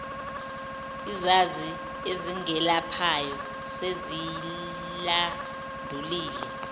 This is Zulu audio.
izazi ezingelaphayo seziyilandulile